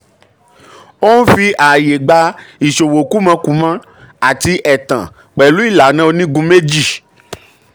ó ń fi ààyè gba ìṣòwó kúmọkùmọ àti ẹ̀tàn pẹ̀lú ìlànà onígun méjì.